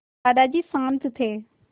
दादाजी शान्त थे